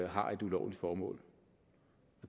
har et ulovligt formål